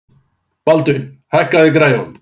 Baldvin, hækkaðu í græjunum.